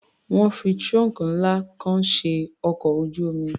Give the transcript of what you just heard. Wọ́n fi trunk ńlá kan ṣe ọkọ̀ ojú-omi.